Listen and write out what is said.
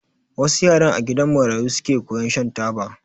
Wassu yaran a gidan marayu suke koyan shan taba